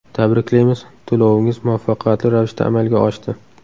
Tabriklaymiz, to‘lovingiz muvaffaqiyatli ravishda amalga oshdi.